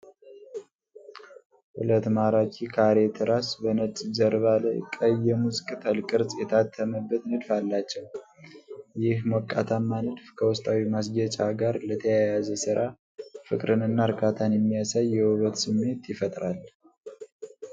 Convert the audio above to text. ሁለት ማራኪ፣ ካሬ ትራስ በነጭ ጀርባ ላይ ቀይ የሙዝ ቅጠል ቅርፅ የታተመበት ንድፍ አላቸው። ይህ ሞቃታማ ንድፍ ከውስጣዊ ማስጌጫ ጋር ለተያያዘ ሥራ ፍቅርንና እርካታን የሚያሳይ የውበት ስሜት ይፈጥራል።